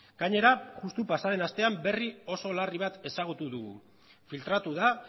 gainera justu pasa den astean berri oso larri bat ezagutu dugu filtratu da